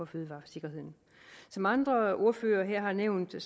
fødevaresikkerheden som andre ordførere her har nævnt er